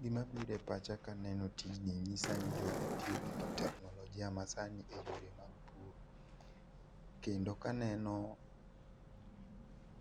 Gima biro e pacha ka eno tijni nyisani jogi tiyogi teknolojia masani e yor emag pur, kendo ka aneno